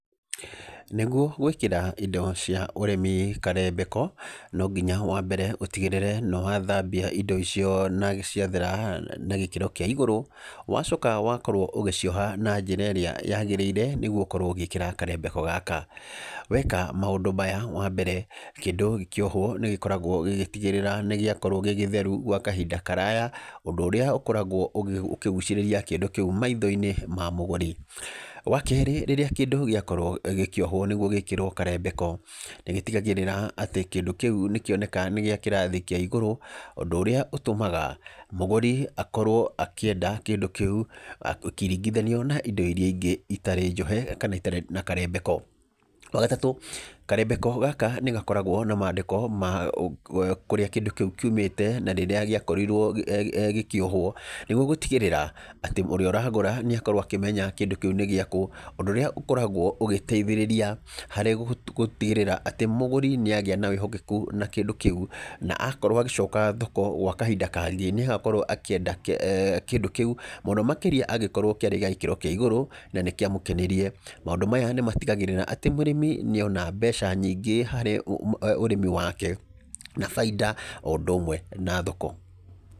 Nĩguo gwĩkĩra indo cia ũrĩmi karembeko, no nginya wa mbere ũtigĩrĩre nĩ wathambia indo icio na ciathera na gĩkĩro kĩa igũrũ. Wacoka wakorwo ũgĩcioha na njĩra ĩrĩa yagĩrĩire nĩguo ũkorwo ũgĩkĩra karembeko gaka. Weka maũndũ maya, wa mbere kĩndũ kĩohwo nĩ gĩkoragwo gĩgĩtigĩrĩra nĩ gĩakorwo gĩ gĩtheru gwa kahinda karaya, ũndũ ũrĩa ũkoragwo ũkĩgucĩrĩria kĩndũ kĩu maitho-inĩ ma mũgũri. Wa keerĩ rĩrĩa kĩndũ gĩakorwo gĩkĩohwo nĩguo gĩkĩrwo karembeko, nĩ gĩtigagĩrĩra atĩ kĩndũ kĩu nĩ kĩoneka nĩ gĩa kĩrathi kĩa igũrũ, ũndũ ũrĩa ũtũmaga mũgũri akorwo akĩenda kĩndũ kĩu, gũkĩringithanio na indo irĩa ingĩ itarĩ njohe, kana itarĩ na karembeko. Wa gatatũ, karembeko gaka nĩ gakoragwo na maandĩko ma kũrĩa kĩndũ kĩu kiumĩte, na rĩrĩa gĩakorirwo eeh gĩkĩohwo. Nĩguo gũtigĩrĩra atĩ ũrĩa ũragũra nĩ akorwo akĩmenya kĩndũ kĩu nĩ gĩakũ, ũndũ ũrĩa ũkoragwo ũgĩteithĩrĩria harĩ gũtigĩrĩra atĩ mũgũri nĩ agĩa na wĩhokeku na kĩndũ kĩu, na akorwo agĩcoka thoko gwa kahinda kangĩ, nĩ agakorwo akĩenda eh kĩndũ kĩu. Mũno makĩria angĩkorwo kĩarĩ kĩa gĩkĩro kĩa igũrũ, na nĩ kĩamũkenirie. Maũndũ maya nĩ matigagĩrĩra atĩ mũrĩmi nĩ ona mbeca nyingĩ harĩ ũrĩmi wake, na baida o ũndũ ũmwe na thoko.